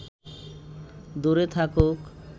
দূরে থাকুক